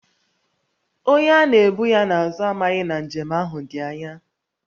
Onye a na-ebu ya n’azụ amaghị na njem ahụ dị ányá